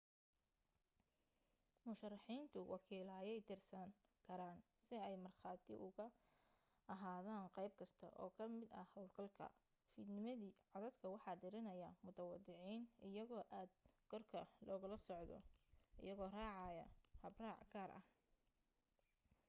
musharaxiintu wakiilo ayay dirsan karaan si ay markhaati ugu ahaadaan qayb kasta oo ka mid ah hawlgalka fiidnimadii codadka waxa tiranaya mutadawiciin iyagoo aad korka loogala socdo iyagoo raacaya habraac gaar ah